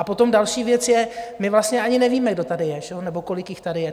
A potom další věc je - my vlastně ani nevíme, kdo tady je nebo kolik jich tady je.